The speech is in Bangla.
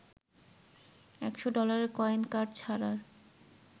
১০০ ডলারের কয়েন কার্ড ছাড়ার